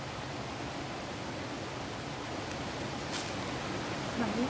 বাহিৰত